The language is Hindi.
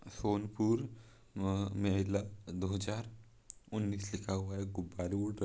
सोनपुर म-महिला दो हजार उन्नीस लिखा हुआ है गुब्बारे उड़ र--